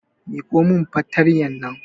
Miƙo min fartanyar nan